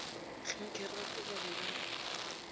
kgenkgerepe ba be ba re